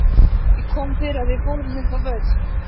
Það kom fyrir að við fórum upp á Völl.